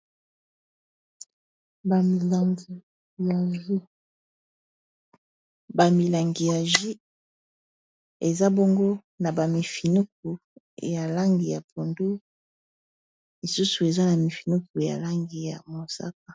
Bamilangi ya ju eza bongo na bamifinuku ya langi ya pondo lisusu eza na mifinuku ya langi ya mosaka